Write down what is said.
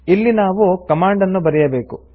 ಇಲ್ಲಿ ನಾವು ಕಮಾಂಡ್ ನ್ನು ಬರೆಯಬೇಕು